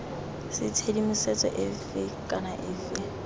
c tshedimosetso efe kana efe